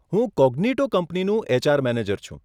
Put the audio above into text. હું કોગ્નીટો કંપનીનો HR manager છું.